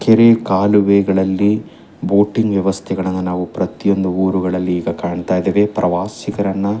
ಕೆರೆ ಕಾಲುವೆಗಳಲ್ಲಿ ಬೋಟಿಂಗ್ ವ್ಯವಸ್ಥೆಗಳನ್ನ ನಾವು ಪ್ರತಿಯೊಂದು ಉರುಗಳಲ್ಲಿ ಈಗ ಕಾಣ್ತಾ ಇದೇವೆ ಪ್ರವಾಸಿಗರನ್ನ --